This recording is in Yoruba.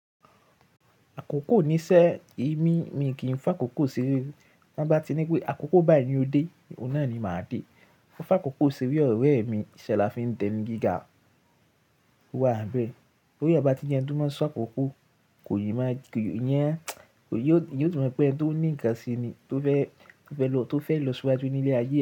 Àkókò níṣẹ́ èmi, mi kì í fa kòkò sere o. Tọ́n bá ti ní pé àkókò báyìí ni o dé, oun nà ni màá dé. Ma fa kòkò seré ọ̀rẹ́ mi, ìṣẹ́ la fi ń dẹni gíga o wá bẹ́ẹ̀. Bi eeyan bá ti jẹ ẹni tó máa ń ṣọ kòkò, kò yé máa iyẹn, ò yóò, yóò timọ pé ẹni tó ní ìkàn se ni tó fẹ́, tó fẹ́ lọ, tó fẹ́ lọ síwájú ní ilé ayé.